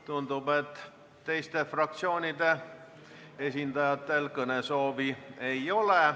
Tundub, et teiste fraktsioonide esindajatel kõnesoovi ei ole.